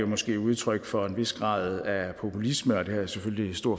måske er udtryk for en vis grad af populisme det har jeg selvfølgelig en stor